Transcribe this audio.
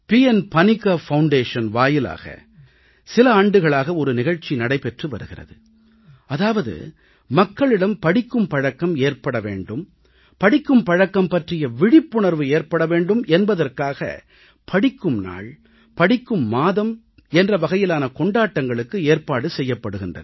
பணிக்கர் அறக்கட்டளை வாயிலாக சில ஆண்டுகளாக ஒரு நிகழ்ச்சி நடைபெற்று வருகிறது அதாவது மக்களிடம் படிக்கும் பழக்கம் ஏற்பட வேண்டும் படிக்கும் பழக்கம் பற்றிய விழிப்புணர்வு ஏற்பட வேண்டும் என்பதற்காக படிக்கும் நாள் படிக்கும் மாதம் என்ற வகையிலான கொண்டாட்டங்களுக்கு ஏற்பாடு செய்யப்படுகின்றன